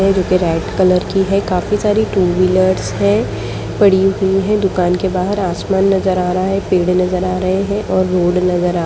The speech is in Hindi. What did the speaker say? जो की रेड कलर की है टू-व्हीलर है पड़ी हुई है दुकान के बाहर आसमान नजर आ रहा है पेड़े नज़र आ रहे है और रोड नज़र आ --